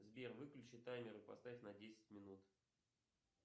сбер выключи таймер и поставь на десять минут